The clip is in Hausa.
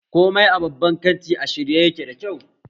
Komai a babban kanti a shirye yake da kyau